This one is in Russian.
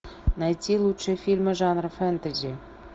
найти лучшие фильмы жанра фэнтези